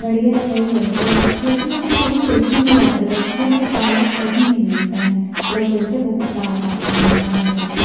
बढ़िया है भाई लड़के लोग लड़के लोग का सैलून मिल जाता है लड़कियों का पालर कही नहीं मिलता है लोग बोलते है बहुत सारा पालर होता हैं करके--